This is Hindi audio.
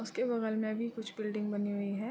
उसके बगल में भी कुछ बिल्डिंग बनी हुई है।